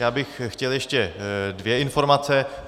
Já bych chtěl ještě dvě informace.